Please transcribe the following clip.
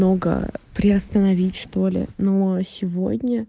наугаа приостановить что-ли но а сегодня